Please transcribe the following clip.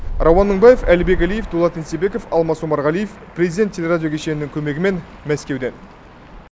рауан мыңбаев әлібек әлиев дулат еңсебеков алмас омарғалиев президент телерадио кешенінің көмегімен мәскеуден